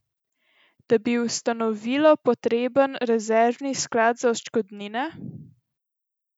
Da bi ustanovilo prepotreben rezervni sklad za odškodnine?